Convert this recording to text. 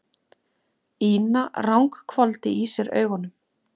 Ína ranghvolfdi í sér augunum.